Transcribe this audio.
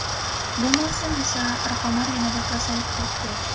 Bu mavsum esa raqamlar yanada pasayib ketdi.